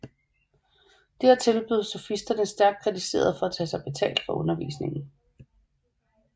Dertil blev sofisterne stærkt kritiseret for at tage sig betalt for undervisningen